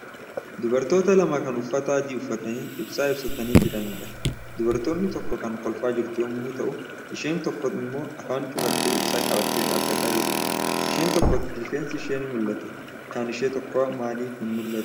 Dubartota lama kan uffata adii uffatanii, ibsaa ibsatanii jiranidha. Dubartiin tokko kan kolfaa jirtu yommuu ta'u isheen tokko immo afaan cufattee ibsaa qabattee dhaabataa jirti. Isheen tokko tifeensi ishee ni mul'ata. Kan ishee tokko aamlif hin mul'atu?